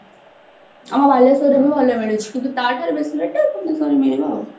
ଆମ ବାଲେଶ୍ଵରରେ ବି ଭଲ ମିଳୁଛି କିନ୍ତୁ ତା ଠାରୁ ବେଶି ଭୁବନେଶ୍ଵରରେ ମିଳିବ ଆଉ